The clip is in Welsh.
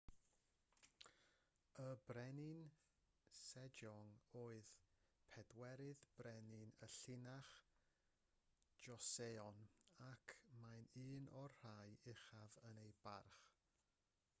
y brenin sejong oedd pedwerydd brenin y llinach joseon ac mae'n un o'r rhai uchaf ei barch